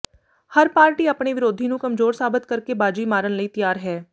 ਹਰ party ਆਪਣੇ ਵਿਰੋਧੀ ਨੂੰ ਕਮਜੋਰ ਸਾਬਤ ਕਰਕੇ ਬਾਜੀ ਮਾਰਨ ਲਈ ਤਿਆਰ ਹੈ